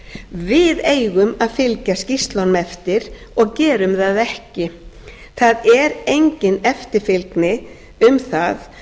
við eigum að fylgja skýrslunum eftir og gerum það ekki það er engin eftirfylgni um það